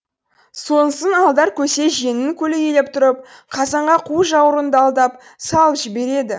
сонсын алдар көсе жеңін көлейлеп тұрып қазанға қу жауырынды алдап салып жібереді